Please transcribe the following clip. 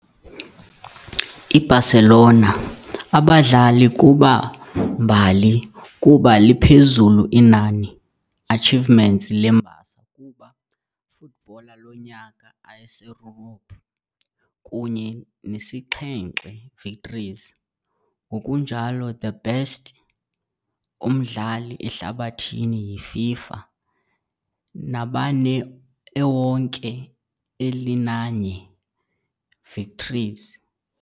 I-Barcelona abadlali kuba mbali kuba liphezulu inani achievements le mbasa kuba Footballer Lonyaka Aseyurophu, kunye nesixhenxe victories, ngokunjalo the Best umdlali ehlabathini yi-FIFA, nabane ewonke elinanye victories.